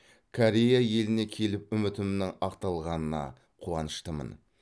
корея еліне келіп үмітімнің ақталғанына қуаныштымын